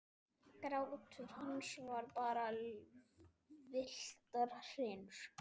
Grátur hans var bara villtar hrinur.